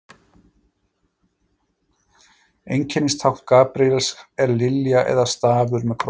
Einkennistákn Gabríels er lilja eða stafur með krossi.